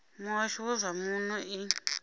muhasho wa zwa muno i